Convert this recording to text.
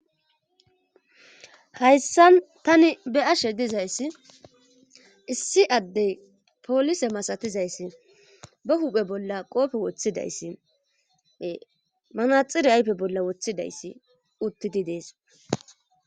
Hayssan tani be'ashe dizayssi issi addey poolise masatizayssi ba huphe bolla qoofe woththidayssi manaxire ayfe bolla woththidayssi uttidi dees.